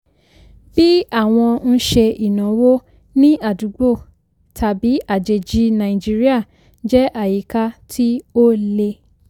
bí àwọn ń ṣe ìnáwó ní àdúgbò tàbí àjèjì nàìjíríà jẹ́ àyíká tí ó le.